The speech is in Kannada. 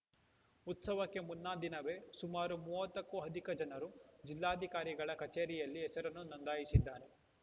ಉತ್ಸವಕ್ಕೆ ಮುನ್ನಾದಿನವೇ ಸುಮಾರು ಮೂವತ್ತಕ್ಕೂ ಅಧಿಕ ಜನರು ಜಿಲ್ಲಾಧಿಕಾರಿಗಳ ಕಚೇರಿಯಲ್ಲಿ ಹೆಸರನ್ನು ನೊಂದಾಯಿಸಿದ್ದಾರೆ